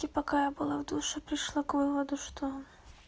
и пока я была в душе пришла к выводу что